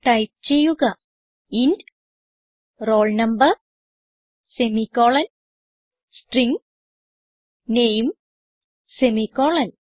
type ചെയ്യുക int roll number semi colon string name semi colon